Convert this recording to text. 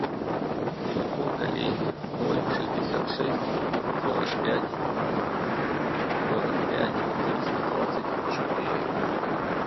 телефон коллеги ноль шестьдесят шесть сорок пять сорок пять триста двадцать четыре